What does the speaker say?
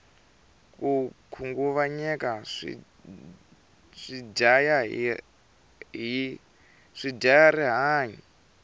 ko khunguvanyeka swi dyaya ri hanyu